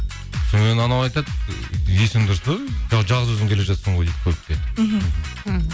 содан кейін анау айтады есің дұрыс па жалғыз өзің келе жатсың ғой дейді көлікте мхм іхі